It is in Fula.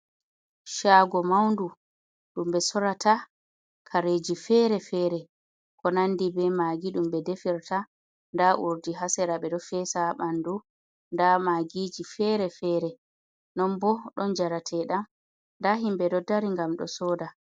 Shaago maudu, ɗum ɓe sorata kareji fere-fere, ko nandi be maagi ɗum ɓe defirta. nda urdi haa sera, ɓe ɗo feesa haa ɓandu, nda maagiji fere-fere, non bo ɗon njareteeɗam nda himɓe ɗo dari ngam ɗo sooda.